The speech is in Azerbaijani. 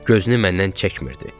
Gözünü məndən çəkmirdi.